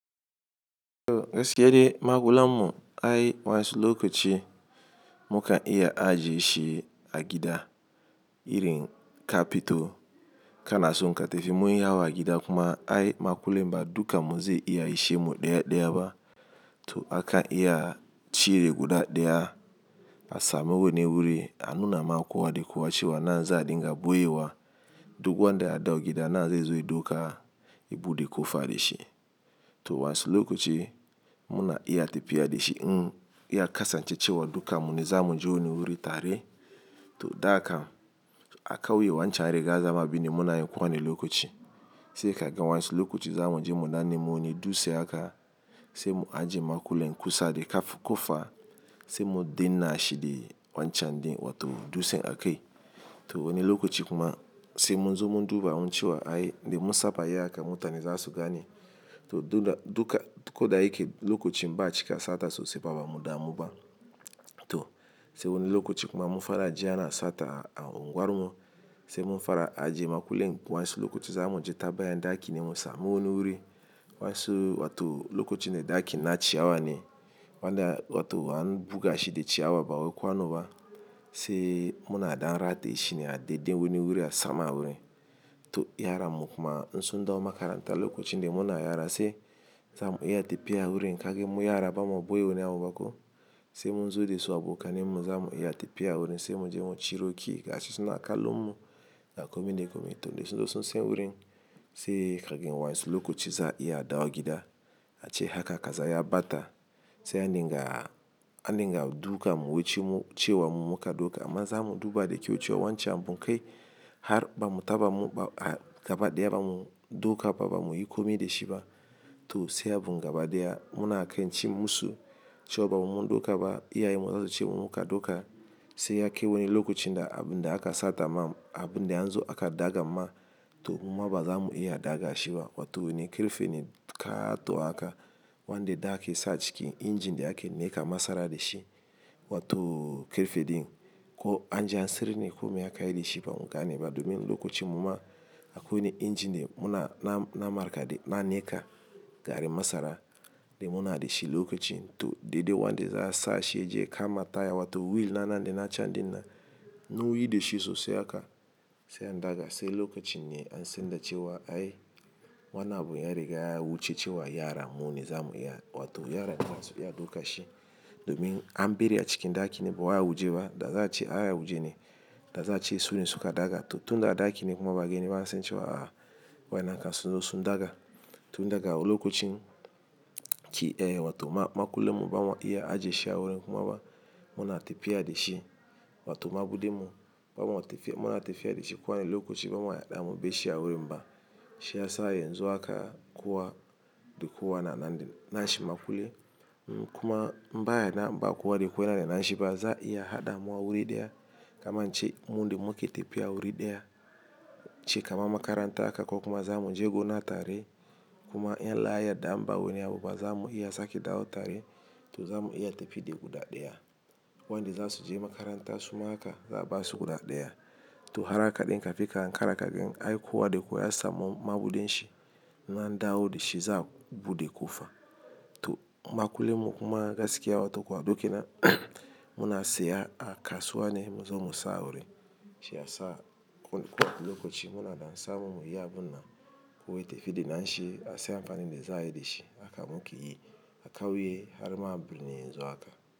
To gaskiyade makullanmu ai wansulokoci muka iya ajiye shi a gida irin kafito kana son ka tafi munyi yawa a gida kuma ai makullin ba dukanmu zai iya ishe mu ɗaya ɗaya ba. To aka iya cire guda ɗaya a samu wani wuri anuna ma kowa de kowa cewa nan za a dinga ɓoye wa duk wanda ya dau gida nan zai zo ya ɗauka ya buɗe kofa ɗe shi. To wansulokoci muna iya tafiya de shi in ya kasance cewa dukanmu ne za mu je wani wuri tare to da kam a kauye wancan ya riga ya zama abinde muna yi kowane lokaci. Sai ka gan wansu lokoci za mu je mu dan nemi wani dutse haka sai mu ajiye makullen kusa da kaf- kofa sai mu denna shi de wancan din wato dutsen a kai. To wani lokoci kuma sai munzo mun duba mun ce wa ai, indai mun saba yin haka mutane za su gane. To duda- duka ko da yake lokocin ba a cika sata sosai ba ba mu damu ba. To sai wani lokaci kuma mun fara ji ana sata a unguwar mu sai mun fara ajiye makullen wansulokoci za mu je ta baya ɗakin ne mu samu wani wuri wansu wato lokacin da ɗakin na ciyawa ne wanda wato an buga shi da ciyawa ba wai kwano ba sai muna da'n rataye shi ne a daɗe wani wuri a sama wurin. To yaranmu kuma in sun ɗawo makaranta lokacin de muna yara sai za mu iya tafiya wurin kagan mu yara ba mo ɓoye wani abu ba ko sai munzo de su abokanmu za mu iya tafiya wurin sai mu je mu ciro ki gashi suna a kallon mu da komi da komi. To da sun sen wurin sai ka waisu lokoci za a iya a ɗawo gida a ce haka kaza ya ɓata sai andinga andinga dukanmu wuce mu cewa mu muka ɗauka amma za mu duba da kyau cewa wancan abunkai har ba mu taɓa mu gaba ɗaya ba mu ɗauka ba ba mu yi komi da shi ba. To sai abun gaba ɗaya muna kan ci musu cewo ba mun ɗauka ba iyayenmu zasu ce mu muka ɗauka sai ya kai wani lokacin da abun da aka sata ma abun da anzo aka ɗaga ma to muma baza mu iya ɗaga shi ba wato wani kerfe ne kato haka wanda dakin sa cikin injin de ake neka masara da shi wato kerfe din ko anji an siryarne kome aka yi da shi ba mu gane ba domin lokacin muma akwai wani injin da muna na-na markaɗe na neka garin masara de muna de shi lokacin to daidai wanda za a sa shi ya je kama taya wato wil na nan dai na can din nan. Nauwuyi da shi sosai haka sai an daga sai lokacin ne an sanda cewa ai wannan abun ya riga ya wuce cewa yara mu ne za mu iya wato yara ne masu iya ɗauka shi domin an ɓere a cikin ɗaki ne ba wai a waje ba da za a ce a ya wuje ne da za a ce sune suka daga to tun da a ɗaki ne kuma ba a geni ba an san ce cewa a wayennan kan sunzo sun daga. Tun daga lokacin ki eh wato ma-makullen mu ba ma iya ajiye shi a wurin kuma ba muna tafiya da shi wato maɓude mu ba ma tafiya muna tafiya da shi kowane lokacin ba ma yaɗa mu bai shi a wurin ba. Shi yasa yanzu haka kowa da kowa na nan din nashi makulle in kuma mba yana mba kowa da kowa yana da na shi ba za a iya haɗa mawa wuri ɗaya kamar in ce mun dimu ake tafiya wuri ɗaya ci kama makaranta haka ko kuma za mu je gona tare kuma in Allah ya yadda in ba wani abu ba za mu iya sake dawo tare to za mu iya tafi da guda ɗaya. Wanda za su je makaranta suma haka za a basu guda ɗaya. To har haka ɗin kafin ka hankara ka gan ai kowa da kowa ya samu Mabuuen shi nan dawo da shi za buɗe ko faɗa. To makullen mu kuma gaskiya watakwar dokina muna saya a kasuwa ne muzo mu sa a wurin. Shi ya sa ko-kowane lokaci muna da ansa mu mu yi abun nan kowa ya tafi da nashi a siya amfani da za a yi da shi aka muke yi aka wuye har maɓuɓɓune anzo haka.